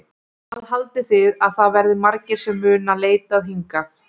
Hvað haldið þið að það verði margir sem munu leitað hingað?